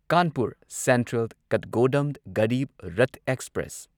Kanpur central Kathgodam Garib Rath express